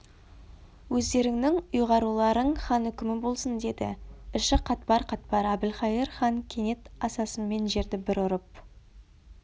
өздеріңнің ұйғаруларың хан үкімі болсын деді іші қатпар-қатпар әбілқайыр кенет асасымен жерді бір ұрып